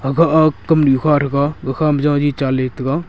aga a kamnu kha thega gakha ma jari tan chan ley taiga.